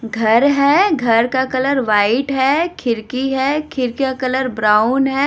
घर हैं घर का कलर व्हाइट हैं खिड़की हैं खिड़की का कलर ब्राउन हैं।